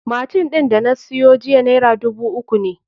Machine ɗin da na siyo jiya naira dubu uku ne